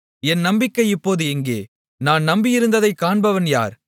என் நம்பிக்கை இப்போது எங்கே நான் நம்பியிருந்ததைக் காண்பவன் யார்